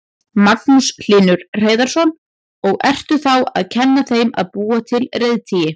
Magnús Hlynur Hreiðarsson: Og ertu þá að kenna þeim að búa til reiðtygi?